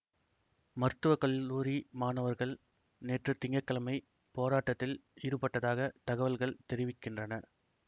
மருத்துவ கல்லூரி மாணவர்கள் நேற்று திங்க கிழமை போராட்டத்தில் ஈடுபட்டதாக தகவல்கள் தெரிவிக்கின்றன